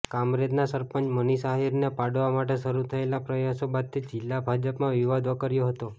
કામરેજના સરપંચ મનીષ આહીરને પાડવા માટે શરૂ થયેલા પ્રયાસો બાદથી જિલ્લા ભાજપમાં વિવાદ વકર્યો હતો